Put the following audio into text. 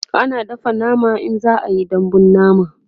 ana dafa nama in za'a Yi dambun nama